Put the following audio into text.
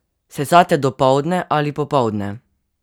Sesate dopoldne ali popoldne?